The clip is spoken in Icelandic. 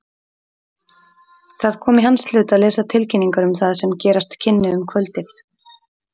Það kom í hans hlut að lesa tilkynningar um það sem gerast kynni um kvöldið.